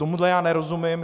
Tomu já nerozumím.